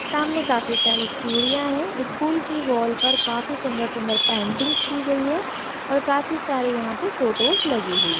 सामने काफी सारी सीडियाँ है स्कूल की वॉल पर काफी सुंदर सुंदर पेंटिंग्स की गई है और काफी सारी यहाँ पे फ़ोटोज़ लगाई हुई है।